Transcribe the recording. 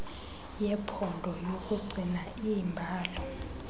yephondo yokugcina iimbalo